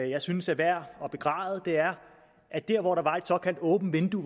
jeg synes er værd at begræde er at der hvor der var et såkaldt åbent vindue